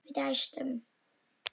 Við dæstum.